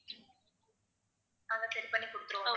அதை சரி பண்ணி கொடுத்திருவோம்